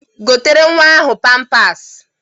Gotere nwa ahụ pampas!